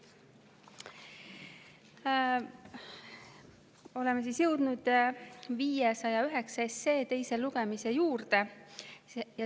Nii, oleme jõudnud 509 SE teise lugemise juurde.